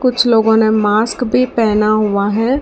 कुछ लोगों ने मास्क भी पेहना हुआ है।